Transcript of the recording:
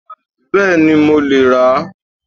Bẹ́ẹ̀ni, mo lè rà á